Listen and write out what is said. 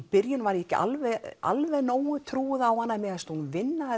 byrjun var ég ekki alveg alveg nógu trúuð á hana en mér fannst hún vinna